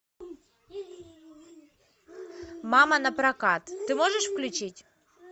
мама напрокат ты можешь включить